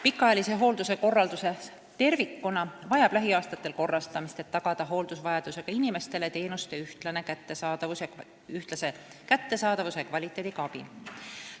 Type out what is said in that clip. Pikaajalise hoolduse korraldus tervikuna vajab lähiaastatel korrastamist, et tagada hooldusvajadusega inimestele teenuste ühtlase kättesaadavuse ja kvaliteediga abi.